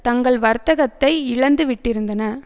தங்கள் வர்த்தகத்தை இழந்து விட்டிருந்தன